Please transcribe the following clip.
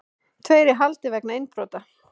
Tveir í haldi vegna innbrota